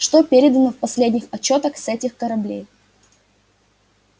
что передано в последних отчётах с этих кораблей